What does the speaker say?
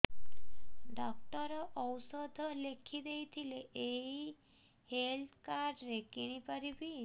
doctor ଔଷଧ ଲେଖିଦେଇଥିଲେ ଏଇ ହେଲ୍ଥ କାର୍ଡ ରେ କିଣିପାରିବି